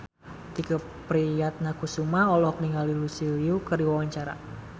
Tike Priatnakusuma olohok ningali Lucy Liu keur diwawancara